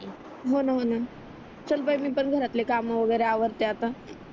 हो न म्हणून चल बाई मी पण घरातले काम वगेरे आवरते आता